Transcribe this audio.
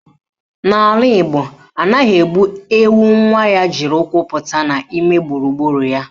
N'ala Igbo, anaghị egbu ewu nwa ya jiri ụkwụ pụta n'ime gburugburu ya